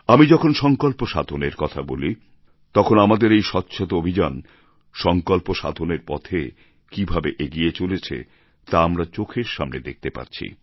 আমি যখন সংকল্প সাধনের কথা বলি তখন আমাদের এই স্বচ্ছতা অভিযান সংকল্প সাধনের পথে কীভাবে এগিয়ে চলেছে তা আমরা চোখের সামনে দেখতে পাচ্ছি